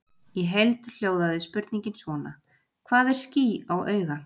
Í heild hljóðaði spurningin svona: Hvað er ský á auga?